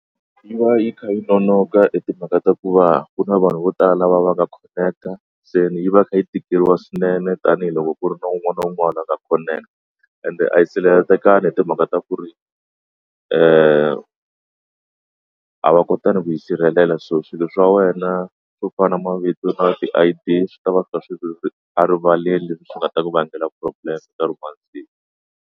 Yi va yi kha yi nonoka i timhaka ta ku va ku na vanhu vo tala va va nga connect-a se yi va yi kha yi tikeriwa swinene tanihiloko ku ri na un'wana na un'wana a nga connect-a ende a yi sirhelelengaki hi timhaka ta ku ri a va kota ni ku tisirhelela so swilo swa wena swo fana na mavito na ti I_D swi tava swi ka swilo a rivalela swi nga ta ku vangela problem nkarhi wa siku.